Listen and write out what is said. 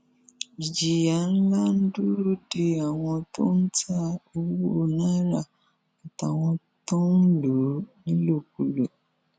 ìjìyà ńlá ń dúró de àwọn tó ń ta owó náírà àtàwọn tó ń lò ó nílòkulò